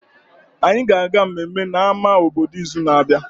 Anyị ga-aga mmemme na ama obodo n'izu na-abịa